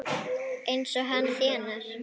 Eins og hann þénar!